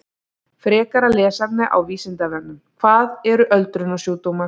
Frekara lesefni á Vísindavefnum: Hvað eru öldrunarsjúkdómar?